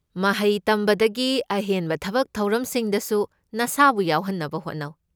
ꯃꯍꯩ ꯇꯝꯕꯗꯒꯤ ꯑꯍꯦꯟꯕ ꯊꯕꯛ ꯊꯧꯔꯝꯁꯤꯡꯗꯁꯨ ꯅꯁꯥꯕꯨ ꯌꯥꯎꯍꯟꯅꯕ ꯍꯣꯠꯅꯧ꯫